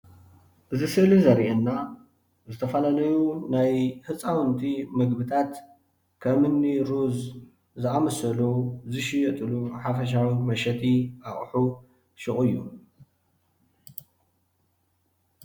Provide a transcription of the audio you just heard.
እዚ ስእሊ ዘርእየና ዝተፈላለዩ ናይ ህፃውንቲ ምግብታት ከም እኒ ሩዝ ዝኣምሰሉ ዝሽየጥሉ ሓፈሻዊ መሸጢ ኣቁሑ ሹቅ እዩ፡፡